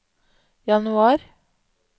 januar